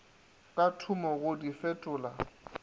ka thoma go di fetola